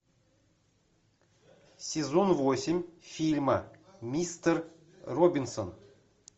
сезон восемь фильма мистер робинсон